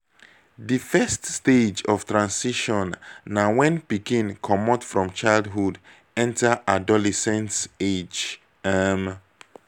di first stage of transition na when pikin comot from childhood enter adolescent age um